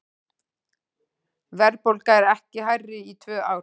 Verðbólga ekki hærri í tvö ár